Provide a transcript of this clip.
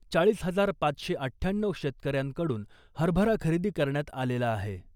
चाळीस हजार पाचशे अठ्ठ्याण्णऊ शेतकऱ्यांकडून हरभरा खरेदी करण्यात आलेला आहे .